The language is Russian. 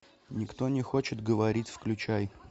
никто не хочет говорить включай